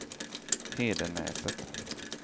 Hedenäset